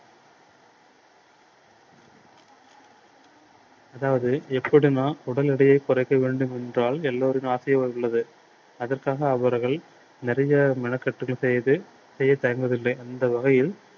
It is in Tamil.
அதாவது எப்படி நான் உடல் எடையை குறைக்க வேண்டும் என்றால் எல்லோரின் உள்ளது. அதற்காக அவர்கள் நிறைய மெனக்கட்டுகள் செய்து செய்ய தயங்குவது அந்த வகையில்